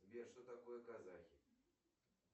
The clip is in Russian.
сбер что такое казахи